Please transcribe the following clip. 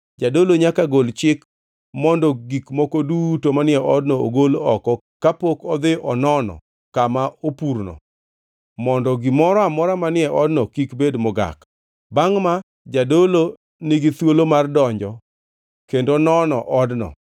Jadolo nyaka gol chik mondo gik moko duto manie odno ogol oko kapok odhi onono kama opurno mondo gimoro amora manie odno kik bed mogak. Bangʼ ma, jadolo nigi thuolo mar donjo kendo nono odno.